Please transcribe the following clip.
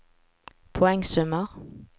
poengsummer